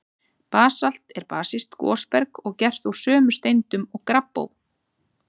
Basalt er basískt gosberg og gert úr sömu steindum og gabbró.